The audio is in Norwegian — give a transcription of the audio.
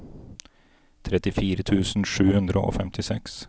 trettifire tusen sju hundre og femtiseks